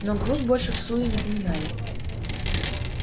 но груз больше всуе не поминали